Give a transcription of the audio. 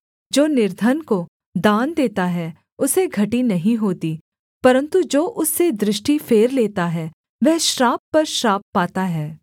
जो निर्धन को दान देता है उसे घटी नहीं होती परन्तु जो उससे दृष्टि फेर लेता है वह श्राप पर श्राप पाता है